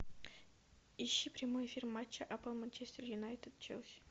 ищи прямой эфир матча апл манчестер юнайтед челси